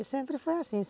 E sempre foi assim.